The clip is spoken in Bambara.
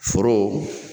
Foro